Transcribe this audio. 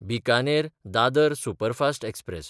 बिकानेर–दादर superfast express